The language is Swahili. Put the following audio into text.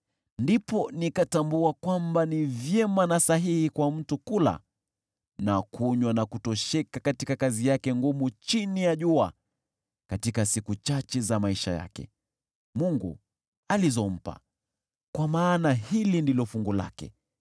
Ndipo nikatambua kwamba ni vyema na sahihi kwa mtu kula na kunywa na kutosheka katika kazi yake ngumu chini ya jua katika siku chache za maisha yake Mungu alizompa, kwa maana hili ndilo fungu lake.